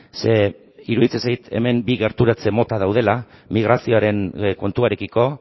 ze iruditzen zait hemen bi gerturatze mota daudela migrazioaren kontuarekiko